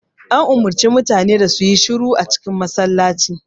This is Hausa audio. An umarci mutane da su yi shiru a cikin masallacin